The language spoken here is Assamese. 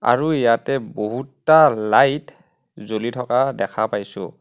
আৰু ইয়াতে বহুতা লাইট জ্বলি থকা দেখা পাইছোঁ.